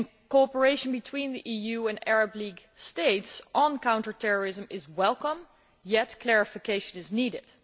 Cooperation between the EU and Arab League states on counter terrorism is welcome, yet clarification is needed.